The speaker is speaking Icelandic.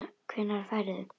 Hvenær ferðu?